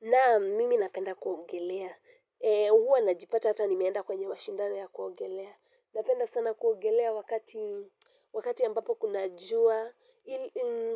Naam, mimi napenda kuogelea, huwa najipata hata nimeenda kwenye mashindano ya kuogelea, napenda sana kuogelea wakati ambapo kuna jua,